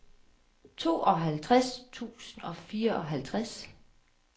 toogtres tusind og fireoghalvtreds